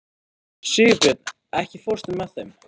Sigurbjörn, ekki fórstu með þeim?